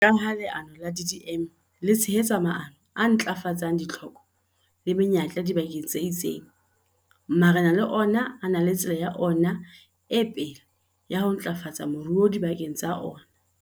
Jwalo ka ha leano la DDM le tshehetsa maano a ntlafatsang ditlhoko le menyetla dibakeng tse itseng, marena le ona a na le tsela ya ona e pele ya ho ntlafatsa moruo dibakeng tsa ona.